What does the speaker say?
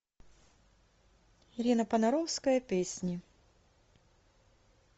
ирина понаровская песни